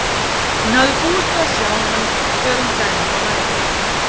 Hún hafði búist við að sjá hann þegar hún kæmi upp á hæðina.